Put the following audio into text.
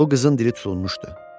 Bu qızın dili tutulmuşdu.